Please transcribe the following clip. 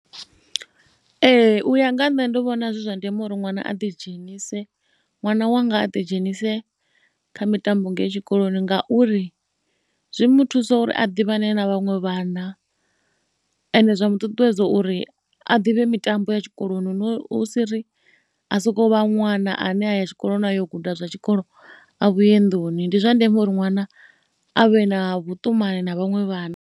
Ee u ya nga nṋe ndi vhona zwi zwa ndeme uri ṅwana a ḓidzhenise, ṅwana wanga a ḓidzhenise kha mitambo ngei tshikoloni ngauri zwi mu thusa uri a ḓivhane na vhaṅwe vhana. Ende zwa mu ṱuṱuwedza uri a ḓivhe mitambo ya tshikoloni no, hu si ri a sokou vha ṅwana ane a ya tshikoloni yo guda zwa tshikolo a vhuye nnḓuni. Ndi zwa ndeme uri ṅwana a vhe na vhuṱumani na vhaṅwe vhana.